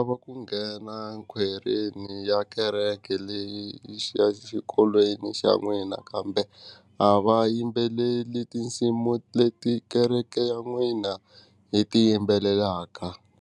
Va ku nghena khwayereni ya kereke leyi xa xikolweni xa n'wina kambe a va yimbeleli tinsimu leti kereke ya n'wina yi ti yimbelelaka.